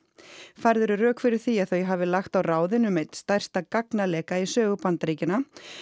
færð eru rök fyrir því að þau hafi lagt á ráðin um einn stærsta gagnaleka í sögu Bandaríkjanna